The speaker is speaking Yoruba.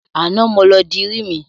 Àná ni mo lọ dirí mi.